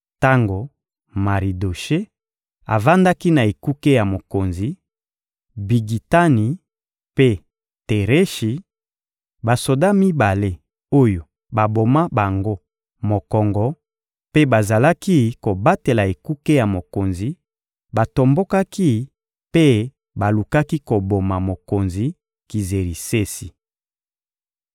Tango Maridoshe avandaki na ekuke ya mokonzi, Bigitani mpe Tereshi, basoda mibale oyo baboma bango mokongo mpe bazalaki kobatela ekuke ya mokonzi, batombokaki mpe balukaki koboma mokonzi Kizerisesi.